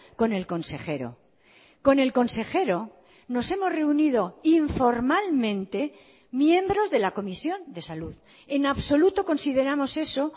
con el consejero con el consejero nos hemos reunido informalmente miembros de la comisión de salud en absoluto consideramos eso